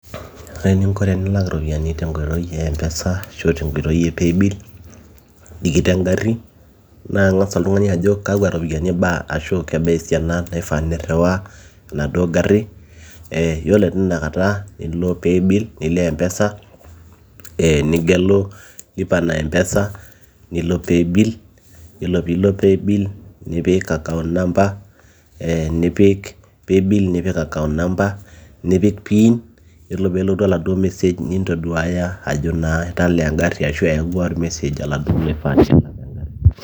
ore eninko tenilak iropiyiani tenkoitoi e mpesa ashu tenkoitoi e paybill tikit engarri naa ing'as oltung'ani ajo kakwa ropiyiani ibaa ashu kebaa esiana naifaa nirriwaa enaduo garri ee yiolo tinakata nilo paybill nilo mpesa ee nigelu lipa na mpesa nilo paybill nipik account number nipik pin yiolo peelotu oladuo message nintoduaya ajo naa italaa engarri ashu eyawua or message oladuo loifaa nelak engarri.